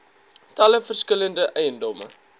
talle verskillende eiendomme